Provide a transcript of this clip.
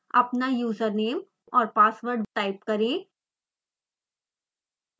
अपना username और password type करें